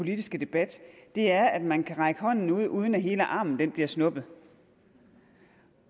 politiske debat er at man kan række hånden ud uden at hele armen bliver snuppet